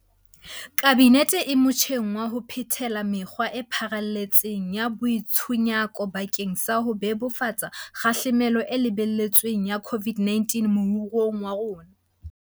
Kabinete e motjheng wa ho phethela mekgwa e pharalletseng ya boitshunyako bakeng sa ho bebofatsa kgahlamelo e lebeletsweng ya COVID-19 moruong wa rona.